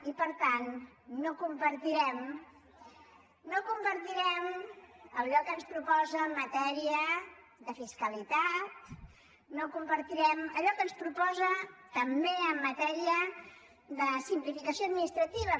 i per tant no compartirem allò que ens proposa en matèria de fiscalitat no compartirem allò que ens proposa també en matèria de simplificació administrativa